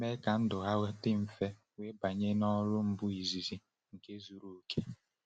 Ha mee ka ndụ ha dị mfe wee banye n’ọrụ mbu izizi nke zuru oke.